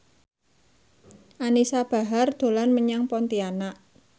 Anisa Bahar dolan menyang Pontianak